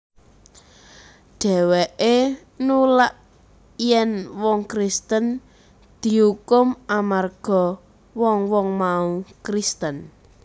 Dhèwèké nulak yèn wong Kristen diukum amarga wong wong mau Kristen